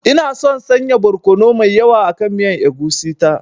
Ina son sanya barkono mai yawa akan miyan egusi ta.